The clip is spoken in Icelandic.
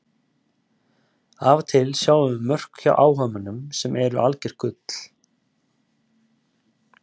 Af og til sjáum við mörk hjá áhugamönnum sem eru algjört gull.